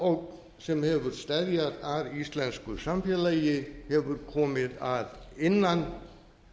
aðalógn sem hefur steðjað að íslensku samfélagi hefur komið að innan